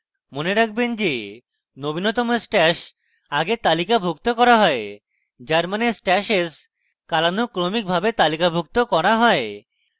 মনে রাখবেন যে নবীনতম stash আগে তালিকাভুক্ত করা হয় যার means stashes কালানুক্রমিকভাবে তালিকাভুক্ত করা হয়